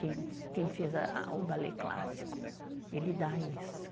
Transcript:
Quem fez o balé clássico, ele dá isso.